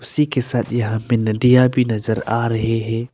सी के साथ यहां पे नदिया भी नजर आ रहे है।